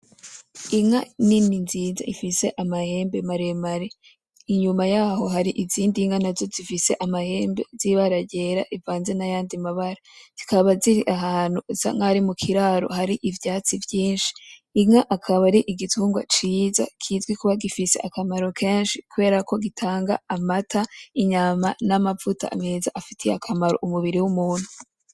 Inka nini nziza ifise amahembe maremare inyuma yaho hari izindi nka nazo zifise amahembe zibara ryera rivanze nayandi mabara. Zikaba ziri ahantu hasa nkaho ari mukiraro hari ivyatsi vyinshi. Inka akaba ari igitungwa ciza kizwi kuba gifise akamaro kenshi kubera ko gitanga amata, inyama namavuta.